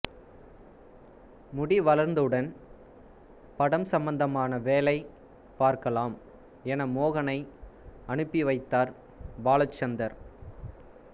முடி வளர்ந்தவுடன் படம் சம்பந்தமான வேளை பார்க்கலாம் என மோகனை அனுப்பிவைத்தார் பாலசந்தர்